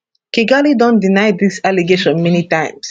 kigali don deny dis allegation many times